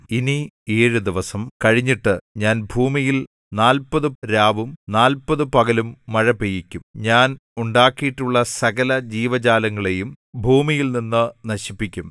ഇനി ഏഴു ദിവസം കഴിഞ്ഞിട്ട് ഞാൻ ഭൂമിയിൽ നാല്പത് രാവും നാല്പത് പകലും മഴപെയ്യിക്കും ഞാൻ ഉണ്ടാക്കിയിട്ടുള്ള സകല ജീവജാലങ്ങളെയും ഭൂമിയിൽനിന്ന് നശിപ്പിക്കും